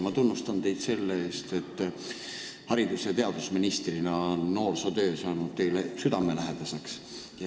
Ma tunnustan teid selle eest, et ministrina on noorsootöö saanud teile südamelähedaseks.